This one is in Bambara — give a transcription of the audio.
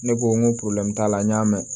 Ne ko n ko t'a la n y'a mɛn